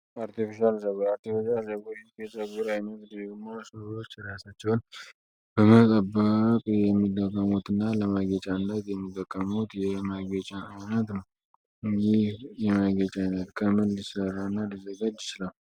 አርቲፊሽል ፀጉር አርቲፍጃር ፀጉር ጨግቡር ይሚ ድግሞ ስሎች እሪያሳቸውን በመጠባቅ የሚደቀሙት እና ለማጌጫ አነት የሚደቀሙት መጌጫ አውነት ነው ይህ የማጌጫይነት ከም ልሠራና ሊዜገጅ ይች ለው